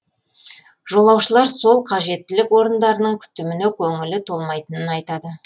жолаушылар сол қажеттілік орындарының күтіміне көңілі толмайтынын айтады